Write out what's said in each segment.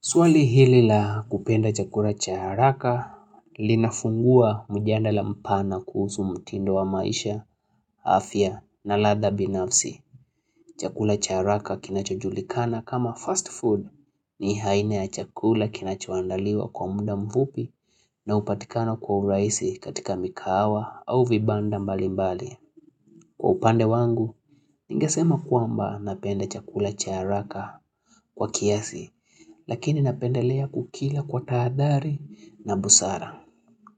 Swali hili la kupenda chakula cha haraka linafungua mjadala mpana kuhusu mtindo wa maisha, afya na ladha binafsi. Chakula cha haraka kinachojulikana kama fast food ni aina ya chakula kinachoandaliwa kwa muda mfupi na hupatikana kwa urahisi katika mikahawa au vibanda mbalimbali. Kwa upande wangu, ningesema kwamba napenda chakula cha haraka kwa kiasi, lakini napendelea kukila kwa tahadhari na busara.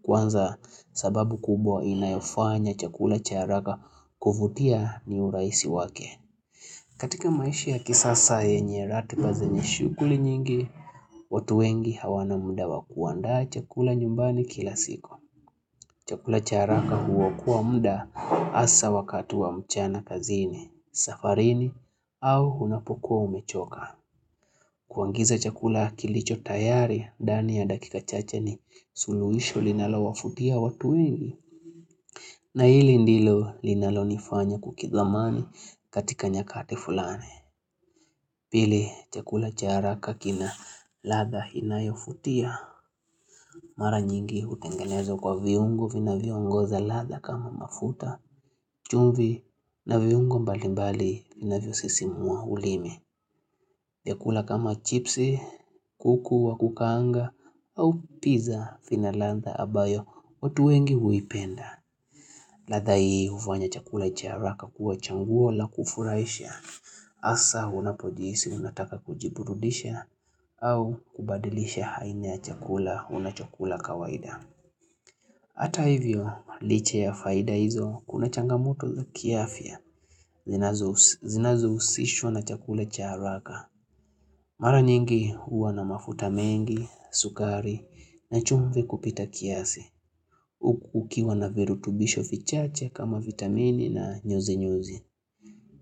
Kwanza sababu kubwa inayofanya chakula cha haraka kuvutia ni urahisi wake. Katika maisha ya kisasa yenye ratiba zenye shughuli nyingi, watu wengi hawana muda wa kuandaa chakula nyumbani kila siku. Chakula cha haraka huokoa muda hasa wakati wa mchana kazini, safarini au unapokuwa umechoka. Kuagiza chakula kilicho tayari, ndani ya dakika chache ni suluhisho linalowavutia watu wengi. Na hili ndilo linalonifanya kukidhamani katika nyakati fulani. Pili, chakula cha haraka kina ladha inayovutia. Mara nyingi hutengenezwa kwa viungo vinavyoongoza ladha kama mafuta. Chumvi na viungo mbalimbali vinavyosisimua ulimi. Vyakula kama chipsi, kuku wa kukaanga au pizza vina ladha ambayo. Watu wengi huipenda. Ladha hii hufanya chakula cha haraka kuwa chaguo la kufurahisha. Hasa unapojihisi unataka kujiburudisha au kubadilisha aina ya chakula unachokula kawaida. Hata hivyo licha ya faida hizo kuna changamoto za kiafya. Zinazohusishwa na chakula cha haraka Mara nyingi huwa na mafuta mengi, sukari na chumvi kupita kiasi Huku ukiwa na virutubisho vichache kama vitamini na nyoze nyoze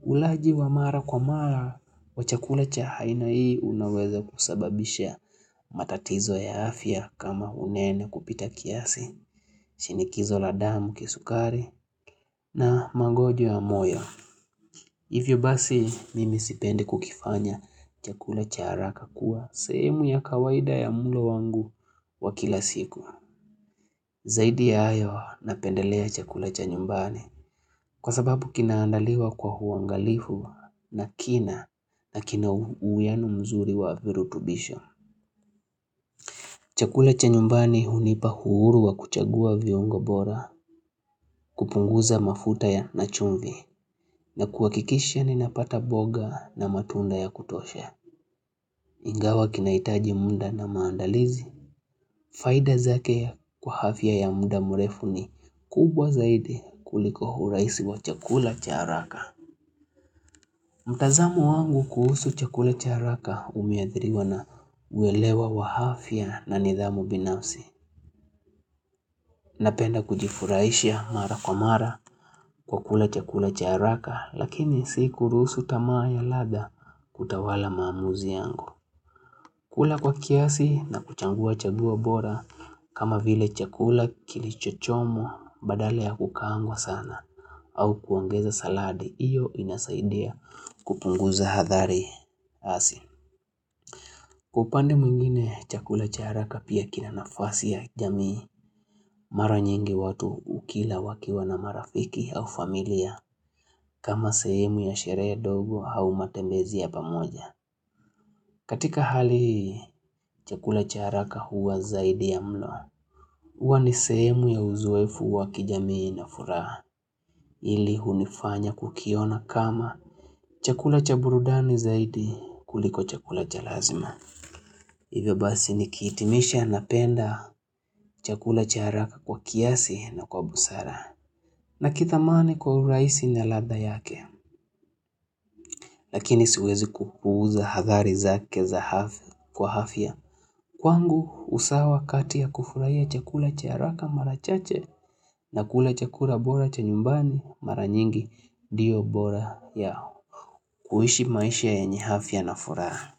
Ulaji wa mara kwa mara, wa chakula cha aina hii unaweza kusababisha matatizo ya afya kama unene kupita kiasi shinikizo la damu kisukari na magonjwa ya moyo Hivyo basi mimi sipendi kukifanya chakula cha haraka kuwa sehemu ya kawaida ya mlo wangu wa kila siku. Zaidi ya hayo napendelea chakula cha nyumbani kwa sababu kinaandaliwa kwa uangalifu na kina uwiiano mzuri wa virutubisho. Chakula cha nyumbani hunipa huru wa kuchagua viungo bora kupunguza mafuta ya na chumvi na kuhakikisha ni napata mboga na matunda ya kutosha. Ingawa kinahitaji muda na maandalizi. Faida zake kwa afya ya muda mrefu ni kubwa zaidi kuliko urahisi wa chakula cha haraka. Mtazamo wangu kuhusu chakula cha haraka umeadhiriwa na uewelewa wa afya na nidhamu binafsi. Napenda kujifurahisha mara kwa mara kukula chakula cha haraka lakini sikuruhusu tamaa ya ladha kutawala maamuzi yangu. Kula kwa kiasi na kuchagua chaguo bora kama vile chakula kilichochomwa badala ya kukaangwa sana au kuongeza saladi, hiyo inasaidia kupunguza adhari hasi. Kwa upande mwingine chakula cha haraka pia kina nafasi ya jamii mara nyingi watu hukila wakiwa na marafiki au familia kama sehemu ya sherehe ndogo au matembezi ya pamoja. Katika hali hii, chakula cha haraka huwa zaidi ya mlo. Huwa ni sehemu ya uzoefu wa kijamii na furaha. Hili hunifanya kukiona kama chakula cha burudani zaidi kuliko chakula cha lazima. Iwe basi nikihitimisha napenda chakula cha haraka kwa kiasi na kwa busara. Nakithamani kwa urahisi na ladha yake. Lakini siwezi kupuuza athari zake za afya kwa afya. Kwangu usawa kati ya kufurahia chakula cha haraka mara chache na kula chakula bora cha nyumbani mara nyingi ndiyo bora yao. Kuishi maisha yenye afya na furaha.